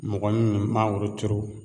Mɔgɔ min bi mangoro turu